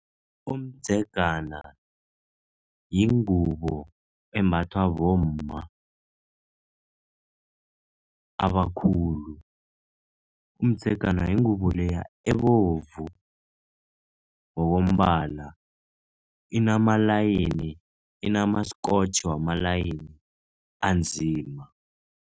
Umdzegana yingubo embathwa bomma abakhulu. Umdzegana yingubo leya ebovu ngokombala, inamalayini, inama-scotch wamalayini anzima.